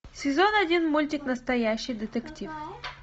сезон один мультик настоящий детектив